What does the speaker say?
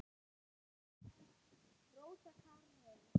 Rósa Karin.